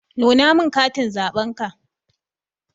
Nuna min katin zaɓenka.